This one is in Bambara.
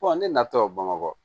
ne natɔ bamakɔ